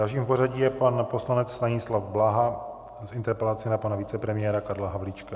Dalším v pořadí je pan poslanec Stanislav Blaha s interpelací na pana vicepremiéra Karla Havlíčka.